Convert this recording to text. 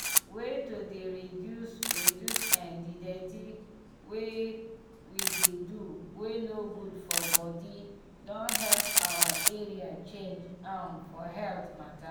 way to dey reduce reduce eh di dirty wey we dey do wey no good for body don help our area change um for health mata